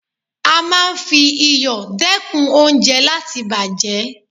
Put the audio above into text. A máa ń fi iyọ̀ dẹ́kun oúnjẹ láti bàjẹ́.